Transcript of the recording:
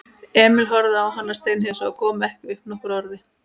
Emil horfði á hann steinhissa og kom ekki upp nokkru orði.